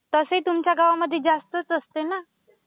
तसंही तुमच्या गावांमध्ये जास्तच असतं ना?